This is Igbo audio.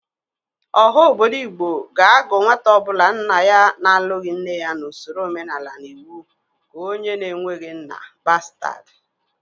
Ọha obodo Igbo ga-agụ nwata ọbụla nna ya na-alụghị nne ya n'osoro omenala na iwu ka onye na-eweghi nna: bastad.